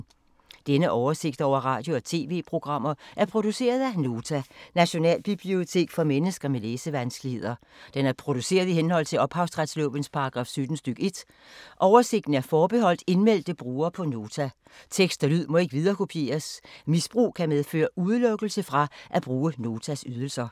Denne oversigt over radio og TV-programmer er produceret af Nota, Nationalbibliotek for mennesker med læsevanskeligheder. Den er produceret i henhold til ophavsretslovens paragraf 17 stk. 1. Oversigten er forbeholdt indmeldte brugere på Nota. Tekst og lyd må ikke viderekopieres. Misbrug kan medføre udelukkelse fra at bruge Notas ydelser.